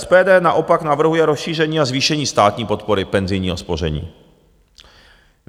SPD naopak navrhuje rozšíření a zvýšení státní podpory penzijního spoření.